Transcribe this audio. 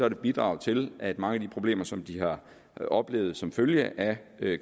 et bidrag til at mange af de problemer som de har oplevet som følge af